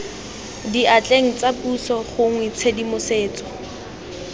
diatleng tsa puso gongwe tshedimosetso